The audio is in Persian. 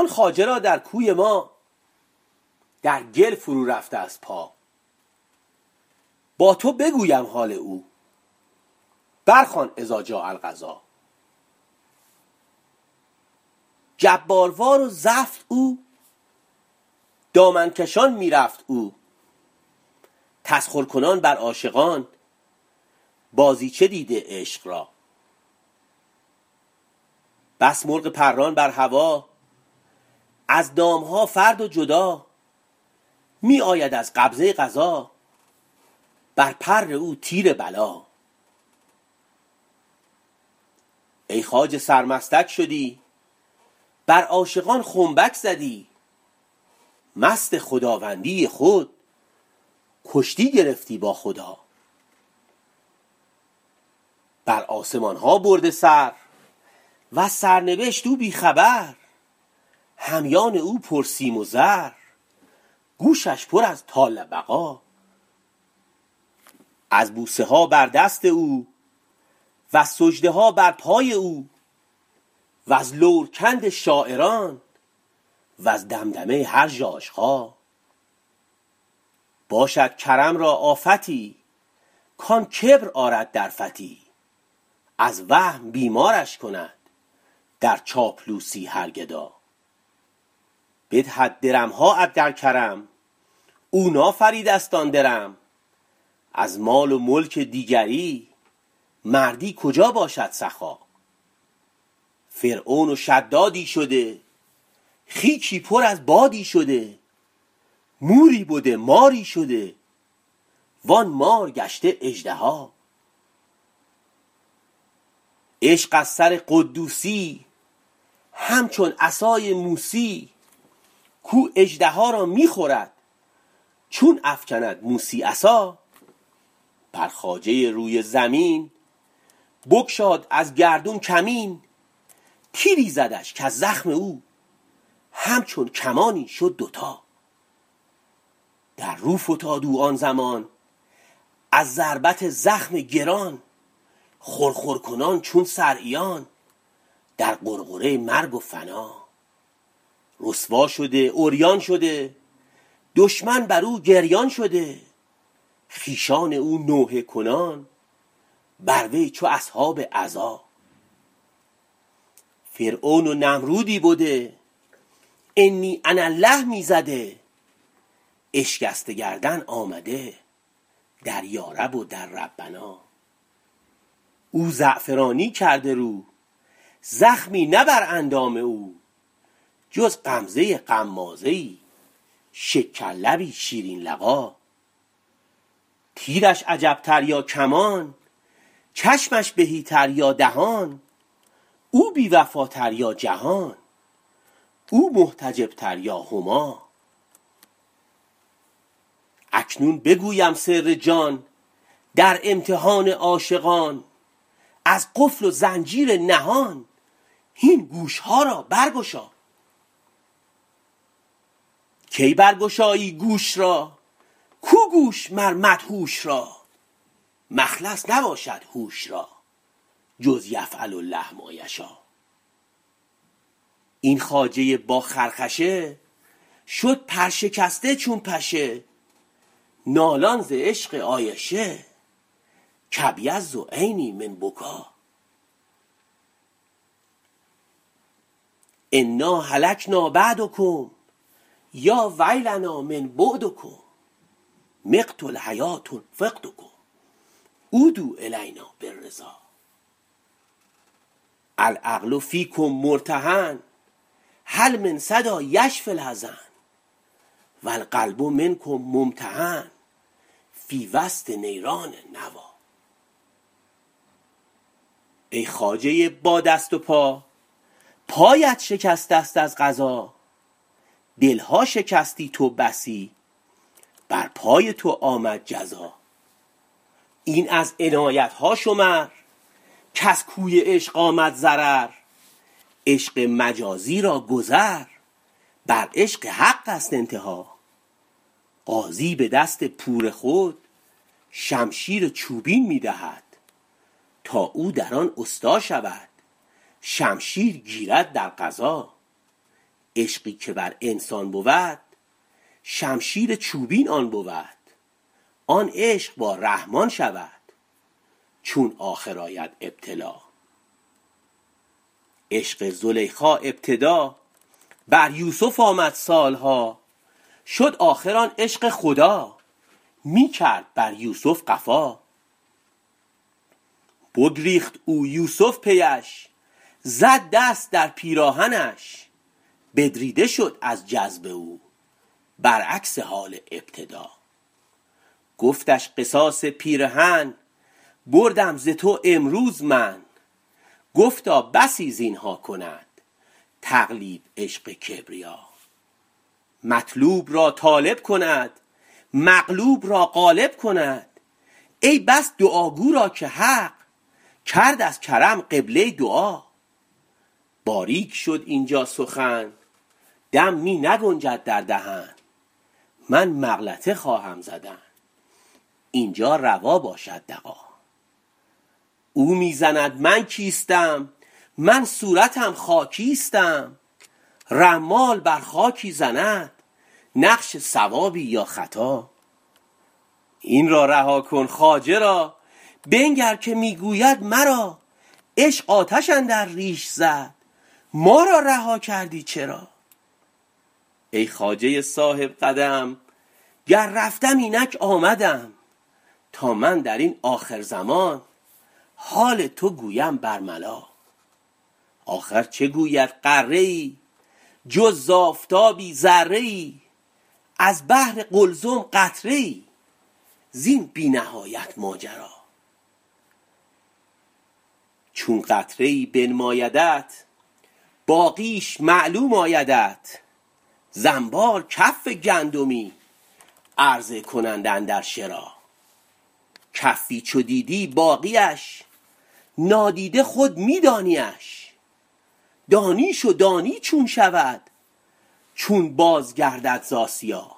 آن خواجه را در کوی ما در گل فرورفته ست پا با تو بگویم حال او برخوان اذا جاء القضا جباروار و زفت او دامن کشان می رفت او تسخرکنان بر عاشقان بازیچه دیده عشق را بس مرغ پران بر هوا از دام ها فرد و جدا می آید از قبضه قضا بر پر او تیر بلا ای خواجه سرمستک شدی بر عاشقان خنبک زدی مست خداوندی خود کشتی گرفتی با خدا بر آسمان ها برده سر وز سرنبشت او بی خبر همیان او پرسیم و زر گوشش پر از طال بقا از بوسه ها بر دست او وز سجده ها بر پای او وز لورکند شاعران وز دمدمه هر ژاژخا باشد کرم را آفتی کان کبر آرد در فتی از وهم بیمارش کند در چاپلوسی هر گدا بدهد درم ها در کرم او نافریده ست آن درم از مال و ملک دیگری مردی کجا باشد سخا فرعون و شدادی شده خیکی پر از بادی شده موری بده ماری شده وان مار گشته اژدها عشق از سر قدوسی یی همچون عصای موسی یی کاو اژدها را می خورد چون افکند موسی عصا بر خواجه روی زمین بگشاد از گردون کمین تیری زدش کز زخم او همچون کمانی شد دوتا در رو فتاد او آن زمان از ضربت زخم گران خرخر کنان چون صرعیان در غرغره مرگ و فنا رسوا شده عریان شده دشمن بر او گریان شده خویشان او نوحه کنان بر وی چو اصحاب عزا فرعون و نمرودی بده انی انا الله می زده اشکسته گردن آمده در یارب و در ربنا او زعفرانی کرده رو زخمی نه بر اندام او جز غمزه غمازه ای شکرلبی شیرین لقا تیرش عجب تر یا کمان چشمش تهی تر یا دهان او بی وفاتر یا جهان او محتجب تر یا هما اکنون بگویم سر جان در امتحان عاشقان از قفل و زنجیر نهان هین گوش ها را برگشا کی برگشایی گوش را کو گوش مر مدهوش را مخلص نباشد هوش را جز یفعل الله ما یشا این خواجه با خرخشه شد پرشکسته چون پشه نالان ز عشق عایشه کابیض عینی من بکا انا هلکنا بعدکم یا ویلنا من بعدکم مقت الحیوه فقدکم عودوا الینا بالرضا العقل فیکم مرتهن هل من صدا یشفی الحزن و القلب منکم ممتحن فی وسط نیران النوی ای خواجه با دست و پا پایت شکسته ست از قضا دل ها شکستی تو بسی بر پای تو آمد جزا این از عنایت ها شمر کز کوی عشق آمد ضرر عشق مجازی را گذر بر عشق حق ست انتها غازی به دست پور خود شمشیر چوبین می دهد تا او در آن استا شود شمشیر گیرد در غزا عشقی که بر انسان بود شمشیر چوبین آن بود آن عشق با رحمان شود چون آخر آید ابتلا عشق زلیخا ابتدا بر یوسف آمد سال ها شد آخر آن عشق خدا می کرد بر یوسف قفا بگریخت او یوسف پی اش زد دست در پیراهنش بدریده شد از جذب او برعکس حال ابتدا گفتش قصاص پیرهن بردم ز تو امروز من گفتا بسی زین ها کند تقلیب عشق کبریا مطلوب را طالب کند مغلوب را غالب کند ای بس دعاگو را که حق کرد از کرم قبله دعا باریک شد اینجا سخن دم می نگنجد در دهن من مغلطه خواهم زدن این جا روا باشد دغا او می زند من کیستم من صورتم خاکیستم رمال بر خاکی زند نقش صوابی یا خطا این را رها کن خواجه را بنگر که می گوید مرا عشق آتش اندر ریش زد ما را رها کردی چرا ای خواجه صاحب قدم گر رفتم اینک آمدم تا من در این آخرزمان حال تو گویم برملا آخر چه گوید غره ای جز ز آفتابی ذره ای از بحر قلزم قطره ای زین بی نهایت ماجرا چون قطره ای بنمایدت باقیش معلوم آیدت ز انبار کف گندمی عرضه کنند اندر شرا کفی چو دیدی باقی اش نادیده خود می دانی اش دانیش و دانی چون شود چون بازگردد ز آسیا